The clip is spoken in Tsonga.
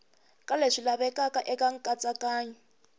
ka leswi lavekaka eka nkatsakanyo